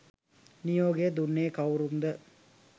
නියෝගය දුන්නේ කවුරුන්ද?